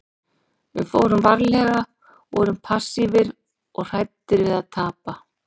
Við fórum varlega, vorum passífir og hræddir við að tapa.